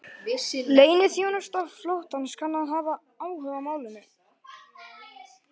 Leyniþjónusta flotans kann að hafa áhuga á málinu